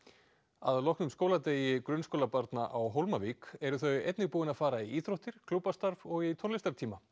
að loknum skóladegi grunnskólabarna á Hólmavík eru þau einnig búin að fara í íþróttir klúbbastarf og í tónlistartíma